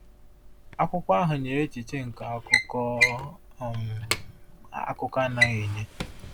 Akwụkwọ ahụ nyere echiche nke akụkọ um akụkọ anaghị enye.